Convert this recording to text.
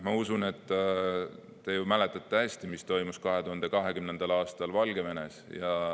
Ma usun, et te mäletate hästi, mis toimus 2020. aastal Valgevenes.